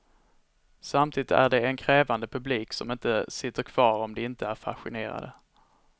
Samtidigt är de en krävande publik som inte sitter kvar om de inte är fascinerade.